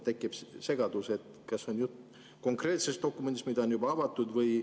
Tekib segadus, kas jutt on konkreetsest dokumendist, mis on juba avatud olnud.